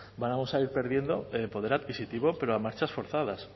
vamos a ir perdiendo poder adquisitivo pero a marchas forzadas